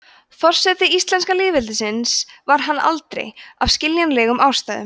forseti íslenska lýðveldisins var hann aldrei af skiljanlegum ástæðum